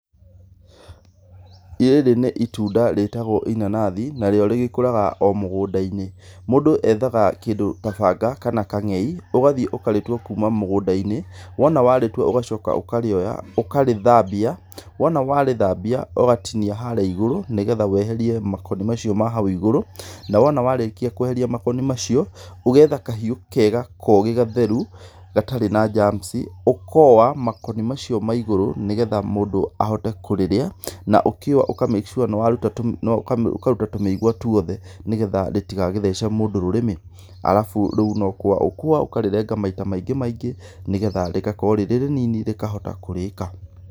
Rĩrĩ nĩ itunda rĩtagwo inanathi, narĩo rĩgĩkũraga o mũgũnda-inĩ. Mũndũ ethaga kĩndũ ta banga kana kang'ei, ũgathiĩ ũkarĩtua kuuma mũgũnda-inĩ, wona warĩtua ũgacoka ũkarĩoya, ũkarĩthambia, wona warĩthambia, ũgatinia harĩa igũrũ nĩ getha weherie makoni macio ma hau igũrũ, na wona warĩkia kũeheria makoni macio, ũgetha kahiũ kega kogĩ gatheru gatarĩ na germs ũkooa makoni macio ma igũrũ nĩ getha mũndũ ahote kũrĩrĩa na ũkĩua ũka make sure nĩwaruta, ũkaruta tũmĩgua tũothe nĩ getha rĩtigagĩthece mũndũ rũrĩmĩ, arabu, rĩu no kũũa ũkũũa ũkarĩrenga maita maingĩ maingĩ nĩgetha rĩgakorũo rĩ rĩnini rĩkahota kũrĩĩka.